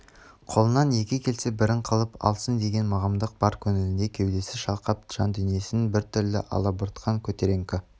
қолынан екі келсе бірін қылып алсын деген мығымдық бар көңілінде кеудесі шалқақ жандүниесін біртүрлі алабұртқан көтеріңкі